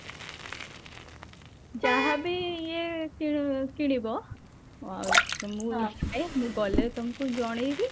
ଯାହା ବି ଇଏ କିଣ କିଣିବ ମୁଁ ଗଲେ ତମକୁ ଜଣେଇବି